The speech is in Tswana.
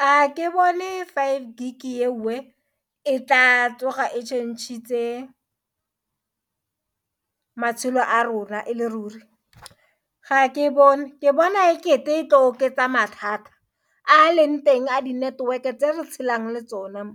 Ha ke bone five gig ye we e tla tsoga e changile matshelo a rona e le ruri, ga ke bone, ke bona e kete e tla oketsa mathata a leng teng a di network-e tse re tshelang le tsona mo